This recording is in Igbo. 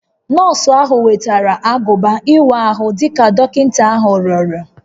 Nọọsụ ahụ wetara agụba ịwa ahụ dị ka dọkịta ahụ rịọrọ